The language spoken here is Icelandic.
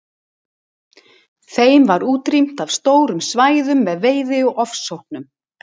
Þeim var útrýmt af stórum svæðum með veiði og ofsóknum.